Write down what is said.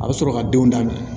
A bɛ sɔrɔ ka denw daminɛ